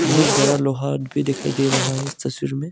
बहुत बड़ा लोहा भी दिखाई दे रहा है इस तस्वीर में।